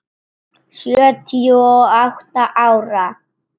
Sjötíu og átta ára.